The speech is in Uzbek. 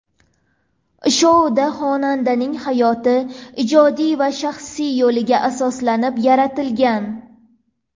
Shou xonandaning hayoti, ijodiy va shaxsiy yo‘liga asoslanib yaratilgan.